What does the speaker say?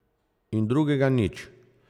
In drugega nič.